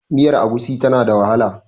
miyar agushi tana da wahala